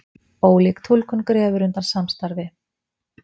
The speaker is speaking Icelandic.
Ólík túlkun grefur undan samstarfi